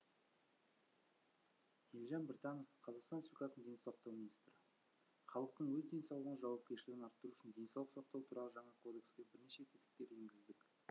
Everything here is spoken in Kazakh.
елжан біртанов қазақстан республикасы денсаулық сақтау министрі халықтың өз денсаулығына жауапкершілігін арттыру үшін денсаулық сақтау туралы жаңа кодекске бірнеше тетіктер енгіздік